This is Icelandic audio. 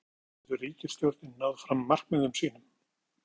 En hvernig getur ríkisstjórnin náð fram markmiðum sínum?